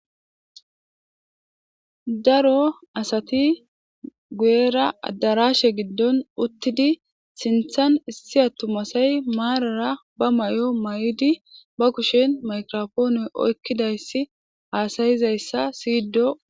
Daro asati gu7era addarashe giddon uttidi sinthan issi attumasay maarara ba may7o may7idi ba kushen makrofoone oykkidayssi haasayizayssa siydo.